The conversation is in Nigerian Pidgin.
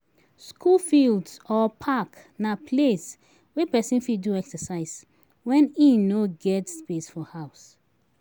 School fields or park na place wey persin fit do exercise when im no get space for house